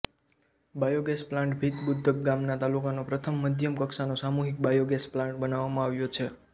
biogas plant Bhitbudrak ગામમાં તાલુકાનો પ્રથમ મધ્યમ કક્ષાનો સામુહિક બાયોગેસ પ્લાન્ટ બનાવવામાં આવ્યો છે